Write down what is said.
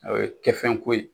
O ye kɛ fɛn ko ye